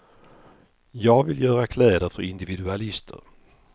Jag vill göra kläder för individualister.